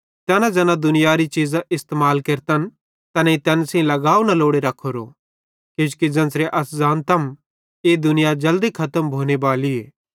तैना ज़ैना दुनियारी चीज़ां इस्तेमाल केरतन तैनेईं तैन सेइं लगाव न लोड़े रखोरो किजोकि ज़ेन्च़रे अस ज़ानतम ई दुनिया जल्दी खतम भोनेबालीए